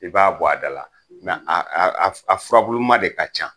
I b'a bɔ a da la. a a a f a furabuluma de ka ca.